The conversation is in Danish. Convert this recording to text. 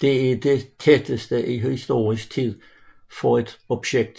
Det er det tætteste i historisk tid for et objekt